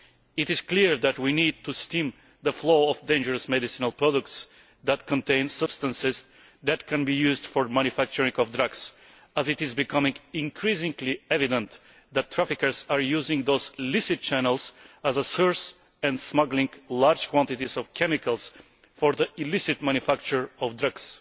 It is clear that we need to stem the flow of dangerous medicinal products containing substances that can be used for manufacturing drugs, as it is becoming increasingly evident that traffickers are using those licit channels as a source and are smuggling large quantities of chemicals for the illicit manufacture of drugs.